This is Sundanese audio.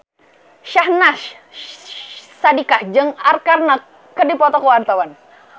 Syahnaz Sadiqah jeung Arkarna keur dipoto ku wartawan